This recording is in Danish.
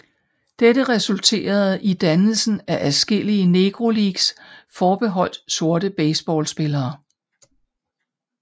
Dette resulterede i dannelsen af adskillige Negro Leagues forbeholdt sorte baseballspillere